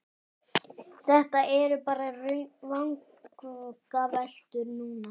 Þetta eru bara vangaveltur núna.